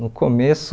No começo,